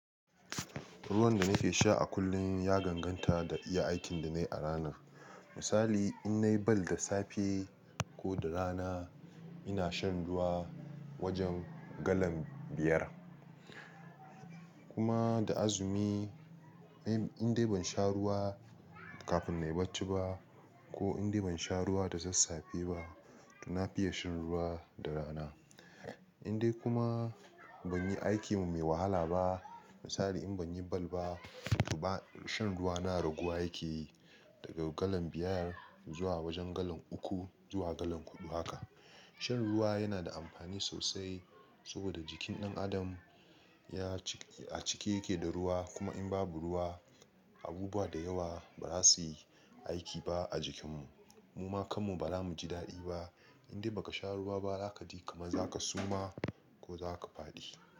Ruwan da nake sha a kullum, ya danganta da iya aikin da na yi a rana. Misali, in na yi bal da safe ko da rana, ina shan ruwa wajen galan biyar, kuma da azumi in dai ban sha ruwa kafin na yi bacci ba ko in dai ban sha ruwa da sassafe ba, toh na fiya shan ruwa da rana. In dai kuma, ban yi aikin mai wahala ba, misali in ban yi bal ba, shan ruwa na raguwa yakeyi, daga galan biyar zuwa wajen galan uku, zuwa galan huɗu haka. Shan ruwa yana da amfani sosai saboda jikin ɗan adam a cike yake da ruwa, kuma in babu ruwa, abubuwa da yawa ba za su yi aiki ba a jikinmu. Muma kanmu ba za mu ji daɗi ba. In dai ba ka sha ruwa ba, za ka ji kaman za ka suma ko za ka faɗi.